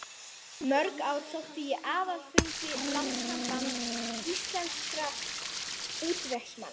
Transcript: Í mörg ár sótti ég aðalfundi Landssambands íslenskra útvegsmanna.